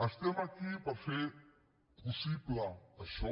estem aquí per fer possible això